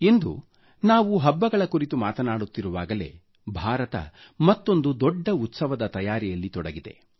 ಇಂದು ನಾವು ಹಬ್ಬಗಳ ಕುರಿತು ಮಾತನಾಡುತ್ತಿರುವಾಗಲೇ ಭಾರತ ಮತ್ತೊಂದು ದೊಡ್ಡ ಉತ್ಸವದ ತಯಾರಿಯಲ್ಲಿ ತೊಡಗಿದೆ